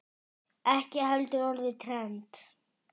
Ekki heldur orðið trend.